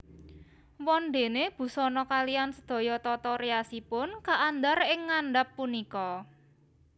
Wondéné busana kaliyan sedaya tata riasipun kaandhar ing ngandhap punika